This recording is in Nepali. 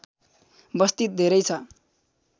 बस्ती धेरै छ